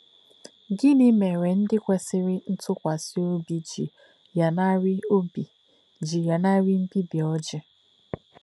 Gịnị mere ndị kwesịrị ntụkwasị obi ji lanarị obi ji lanarị mbibi Oji?